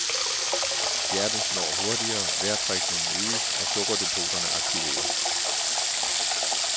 Hjertet slår hurtigere, vejrtrækningen øges og sukkerdepoterne aktiveres.